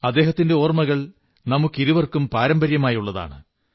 അദ്ദേഹത്തിന്റെ ഓർമ്മകൾ നമുക്കിരുവർക്കും പാരമ്പര്യമായുള്ളതാണ്